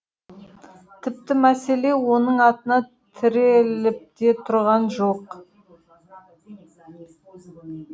тіпті мәселе оның атына тіреліпте тұрған жоқ